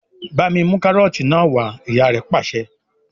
"Bá mi mú kárọ́tì náà wà á!" Ìyá rẹ̀ pàṣẹ.